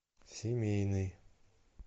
семейный